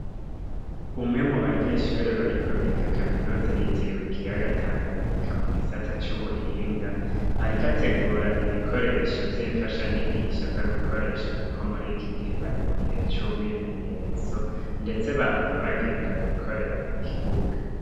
Umwe mubanyeshure bariko biga kaminuza yitiriwe ikiyaga Tanganyika mugisata c’ubuhinga, arik’ategura ibikoresho vy’infatanyigisho aza gukoresha kuko muriki gihe bari mugihe c’umwimenyerezo ndende bahava bagenda gukorera kuk’ibuga.